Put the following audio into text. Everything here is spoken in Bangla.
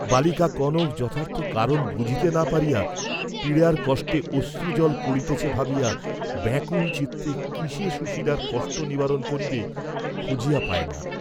বালিকা কনক যথার্থ কারণ বুঝিতে না পারিয়া পীড়ার কষ্টে অশ্রুজল পড়িতেছে ভাবিয়া ব্যাকুল চিত্তে কিসে সুশীলার কষ্ট নিবারণ করিবে খুঁজিয়া পায় না।